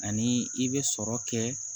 Ani i bɛ sɔrɔ kɛ